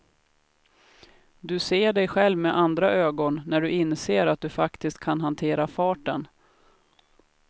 Du ser dig själv med andra ögon när du inser att du faktiskt kan hantera farten.